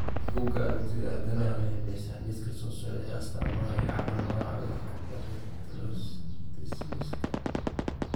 Bugaa aragtida aDdanaha waxay bixisaa liiska soo socda ee astamaha iyo calaamadaha cudurka Reticuloendotheliosiska.